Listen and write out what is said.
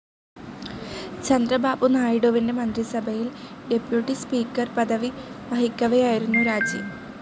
ചന്ദ്രബാബു നായിഡുവിന്റെ മന്ത്രിസഭയിൽ deputy speaker പദവി വഹിക്കവെയായിരുന്നു രാജി.